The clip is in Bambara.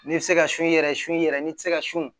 N'i bɛ se ka su yɛrɛ su i yɛrɛ n'i tɛ se ka sun